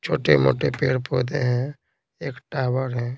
छोटे-मोटे पेड़-पौधे हैं एक टावर है।